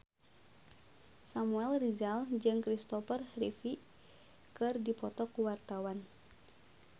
Samuel Rizal jeung Christopher Reeve keur dipoto ku wartawan